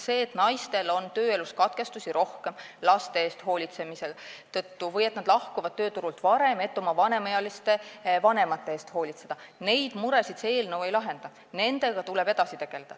Neid muresid, et naistel on tööelus rohkem katkestusi laste eest hoolitsemise tõttu või nad lahkuvad tööturult varem, et oma vanemaealiste vanemate eest hoolitseda, see eelnõu ei lahenda, nendega tuleb edasi tegelda.